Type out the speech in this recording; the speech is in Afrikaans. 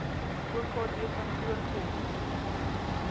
okd kantoor kom